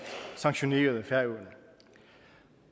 sanktionerede færøerne